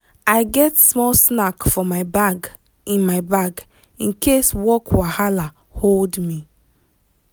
i get small snack for my bag in my bag in case work wahala hold me.